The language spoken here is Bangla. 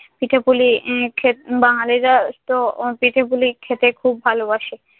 পিঠে-পুলি উম খেত বাঙালিরাতো পিঠে-পুলি খেতে খুব ভালোবাসে